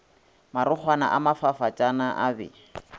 marokgwana a mafafatsana a be